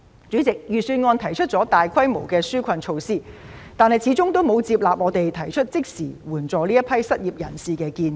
主席，預算案提出了多項紓困措施，但始終沒有接納我們提出的即時援助失業人士的建議。